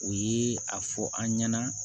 O ye a fɔ an ɲɛna